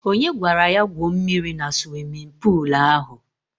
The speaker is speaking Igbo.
Onye gwara ya gwuo mmiri na suwimin puulu ahụ?